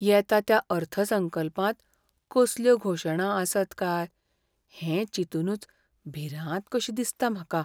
येता त्या अर्थसंकल्पांत कसल्यो घोशणा आसत काय हें चिंतूनच भिरांत कशी दिसता म्हाका.